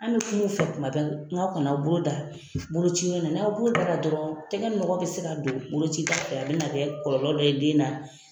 An bi kum'u fɛ kuma bɛɛ nga aw kana a bolo da bolocinɔ na n'aw y'a bolo da dɔrɔn tɛgɛ nɔgɔ bɛ ka don bolocida fɛ a bɛ na kɔlɔlɔ dɔ ye den na.